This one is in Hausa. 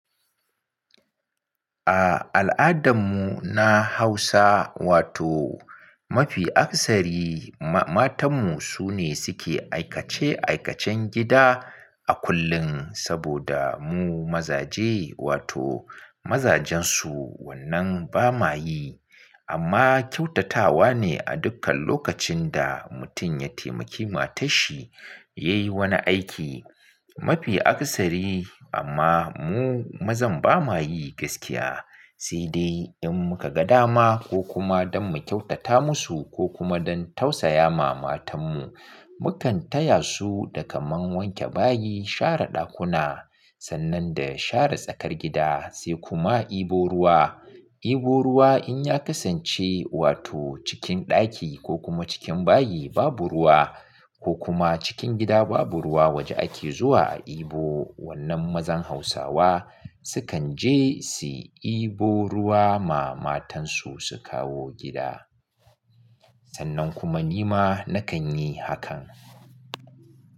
A al'adarmu na Hausa wato mafi akasari matanmu su ne suke aikace-aikacen gida a kullum saboda mu mazaje wato mazajen su wannan ba ma yi. Amma kyautatawa ne a dukkan lokacin da mutum ya taimaki matanshi ya yi wani aiki. Mafi akasari amma mu mazan ba ma yi gaskiya. Sai dai in muka ga dama ko kuma don mu kyautata musu ko kuma don tausaya ma matanmu, mu kan taya su da kamar wanke bayi, share ɗakuna, sannan da share tsakar gida sai kuma ibo ruwa. Ibu ruwa in ya kasance wato cikin ɗaki ko kuma cikin bayi babu ruwa ko kuma cikin gida babu ruwa waje ake zuwa a ibo. Wannan mazan Hausawa su kan je su ibo ruwa ma matansu su kawo gida. Sannan kuma ni ma na kan yi hakan.